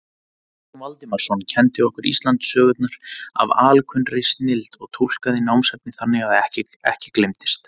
Jón Valdimarsson kenndi okkur Íslendingasögurnar af alkunnri snilld og túlkaði námsefnið þannig að ekki gleymdist.